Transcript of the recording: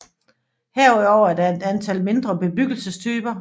Herudover er der et antal mindre bebyggelsestyper